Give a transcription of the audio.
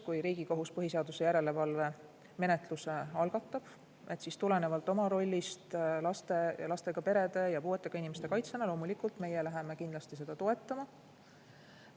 Kui Riigikohus põhiseaduslikkuse järelevalve menetluse algatab, siis tulenevalt oma rollist laste ja lastega perede ja puuetega inimeste kaitsjana loomulikult meie läheme kindlasti seda toetama.